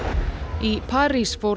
í París fór